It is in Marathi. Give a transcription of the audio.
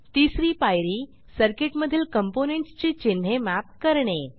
तिसरी पायरी सर्किटमधील कॉम्पोनेंट्स ची चिन्हे मॅप करणे